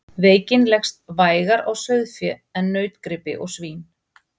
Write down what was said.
Veikin leggst vægar á sauðfé en nautgripi og svín.